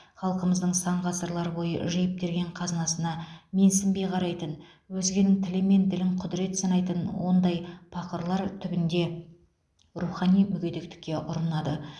халқымыздың сан ғасырлар бойы жиып терген қазынасына менсінбей қарайтын өзгенің тілі мен ділін құдірет санайтын ондай пақырлар түбінде рухани мүгедектікке ұрынады